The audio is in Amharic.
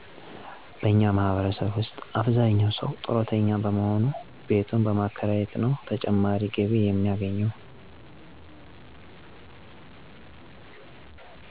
በእኛ ማህበረሰብ ውሰጥ አብዛኛው ሰው ጡረተኛ በሞሆኑ ቤቱን በማከራየት ነው ተጨማሪ ገቢ የሚያገኘው።